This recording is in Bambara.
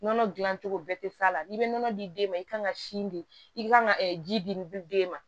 Nɔnɔ dilan cogo bɛɛ tɛ f'a la n'i bɛ nɔnɔ di den ma i kan ka sin di i kan ka ji di den ma